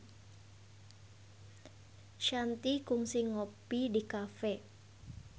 Shanti kungsi ngopi di cafe